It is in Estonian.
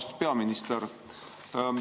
Austatud peaminister!